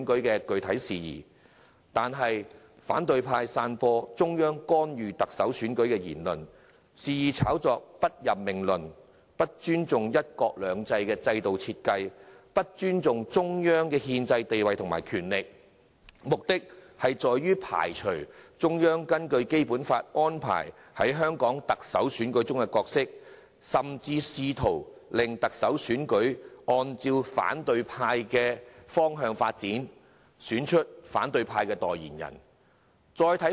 然而，反對派散播中央干預特首選舉的言論，肆意炒作"不任命論"，不尊重"一國兩制"的制度設計，亦不尊重中央的憲制地位和權力，目的是要排除中央根據《基本法》安排在香港特首選舉中的角色，甚至試圖令特首選舉按照反對派的意願發展，選出其代言人。